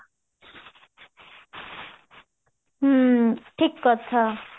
ହ୍ମ ଠିକ କଥା